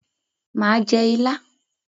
Mà á jẹ ilá.